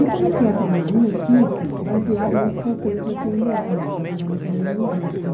E comecei a treinar a minha equipe baseado nesses conceitos da pê ene ele, da Programação Neurolinguística.